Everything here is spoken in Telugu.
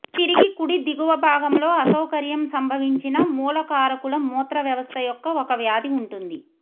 తిరిగి కుడి దిగువ భాగంలో అసౌకర్యం సంభవించిన మూలకారకుల మూత్ర వ్యవస్థ యొక్క ఒక వ్యాధి ఉంటుంది